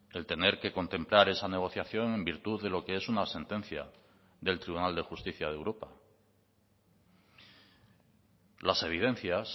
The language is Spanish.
el tener que contemplar esa negociación en virtud de lo que es una sentencia del tribunal de justicia de europa las evidencias